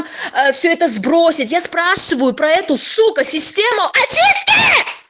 все это сбросить я спрашиваю про эту сукко систему